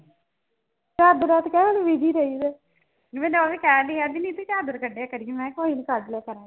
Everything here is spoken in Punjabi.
ਚਾਦਰਾ ਚ ਕਹਿੰਦੀ ਰਾਇਦਾ ਹੈ ਜਿਵੇ ਓ ਵੀ ਕਹੰਡਾਈ ਅਜ ਨੀ ਸੀ ਚਾਦਰ ਕੜੇ ਮੈ ਕਯਾ ਕੋਈ ਨੀ ਕੱਢ ਲਿਆ ਗੇ